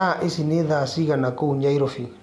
thaaĩcĩ nĩ thaa cĩĩgana kũũ nyairobi